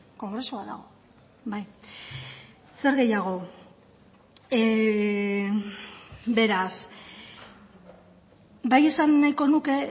kongresua dago zer gehiago beraz bai esan nahiko nuke